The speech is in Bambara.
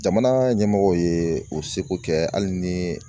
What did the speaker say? Jamana ɲɛmɔgɔw ye o seko kɛ hali ni